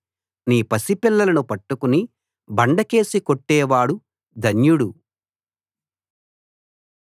నీ పసిపిల్లలను పట్టుకుని బండ కేసి కొట్టేవాడు ధన్యుడు